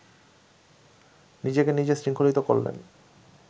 নিজেকে নিজে শৃঙ্খলিত করলেন